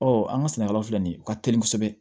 Ɔ an ka sɛnɛkɛlaw la filɛ nin ye u ka teli kosɛbɛ